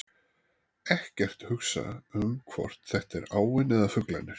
Ekkert hugsa um hvort þetta er áin eða fuglarnir.